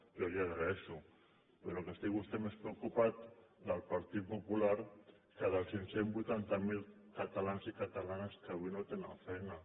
jo li ho agraeixo però que estigui més preocupat pel partit popular que pels cinc cents i vuitanta catalans i catalanes que avui no tenen feina